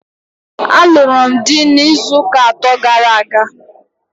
A lụrụ m dị n'izuuka atọ gara aga.